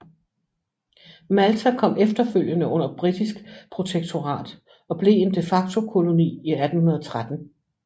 Malta kom efterfølgende under britisk protektorat og blev en de facto koloni i 1813